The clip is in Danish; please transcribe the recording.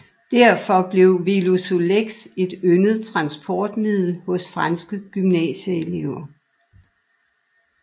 Derfor blev Velosolex et yndet transportmiddel hos franske gymnasieelever